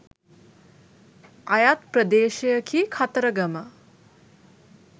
අයත් ප්‍රදේශයකි කතරගම.